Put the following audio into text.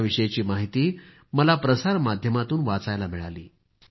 याविषयीची माहिती मला प्रसार माध्यमांतून वाचायला मिळाली